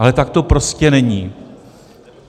Ale tak to prostě není.